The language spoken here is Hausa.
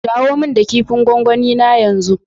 Dawo min da kipin gwangwani na yanzu.